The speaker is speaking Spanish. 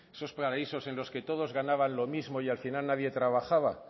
esos paraísos en los que todos ganaban lo mismo y al final nadie trabajaba